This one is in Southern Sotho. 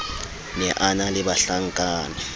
ne a na le bahlankana